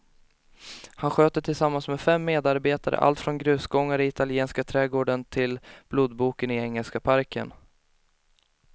Han sköter tillsammans med fem medarbetare allt från grusgångarna i italienska trädgården till blodboken i engelska parken.